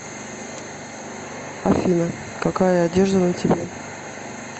афина какая одежда на тебе